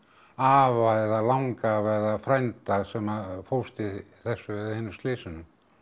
afa eða langafa eða frænda sem fórst í þessu eða hinu slysinu